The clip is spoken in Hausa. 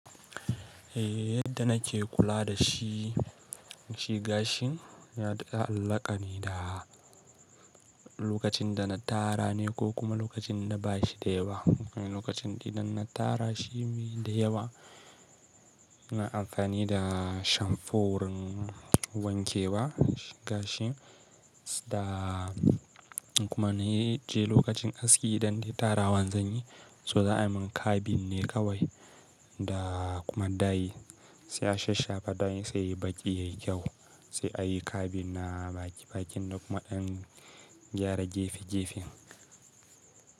Eh yadda nake kula da shi, shi gashin ya da ya allaƙa ne da lokacin da na tara ne ko kuma lokacin da ba shi da yawa. Lokacin idan na tara shi mai da yawa, na amfani da shamfo wurin wanke wa gashin da kuma na yi je lokacin aski idan dai tara wan zanyi so za ai min cabin ne kawai. Da kuma dai sai a shasha fa dai sai yi baƙi yayi kyau, sai a yi cabin na baƙi baƙin da kuma dan gyara gefe gefen.